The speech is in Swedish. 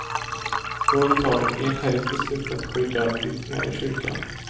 Rådet har enhälligt beslutat att skydda flyktingar i kyrkan.